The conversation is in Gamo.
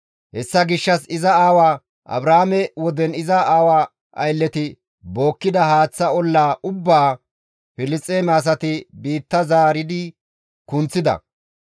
Hessa gishshas iza aawa Abrahaame woden iza aawaa aylleti bookkida haaththa olla ubbaa Filisxeeme asay biitta zaaridi kunththides.